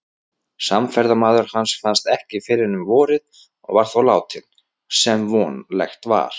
Samferðamaður hans fannst ekki fyrr en um vorið og var þá látinn, sem vonlegt var.